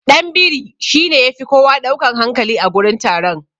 Ɗanbiri shine yafi kowa ɗaukan hankali a gurin taron.